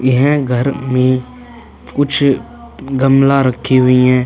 यह घर में कुछ गमला रखी हुई हैं।